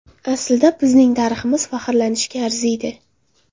Aslida bizning tariximiz faxrlanishga arziydi.